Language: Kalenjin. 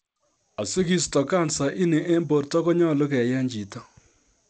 Asigisto kansa in en borto konyolu keyeny' chito